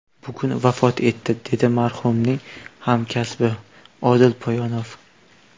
Bugun vafot etdi”, dedi marhumning hamkasbi Odil Poyonov.